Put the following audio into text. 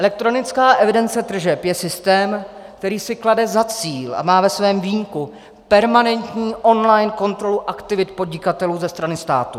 Elektronická evidence tržeb je systém, který si klade za cíl a má ve svém vínku permanentní online kontrolu aktivit podnikatelů ze strany státu.